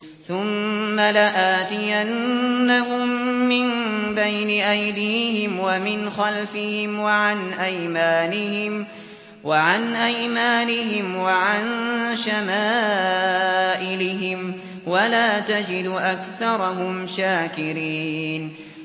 ثُمَّ لَآتِيَنَّهُم مِّن بَيْنِ أَيْدِيهِمْ وَمِنْ خَلْفِهِمْ وَعَنْ أَيْمَانِهِمْ وَعَن شَمَائِلِهِمْ ۖ وَلَا تَجِدُ أَكْثَرَهُمْ شَاكِرِينَ